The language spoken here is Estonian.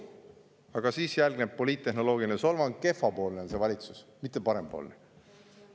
Aga siis järgnes poliittehnoloogiline solvang: kehvapoolne on see valitsus, mitte parempoolne.